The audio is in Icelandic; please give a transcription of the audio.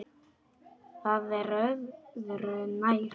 Það er öðru nær.